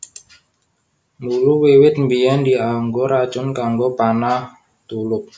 Mula wiwit biyèn dianggo racun kanggo panah/tulup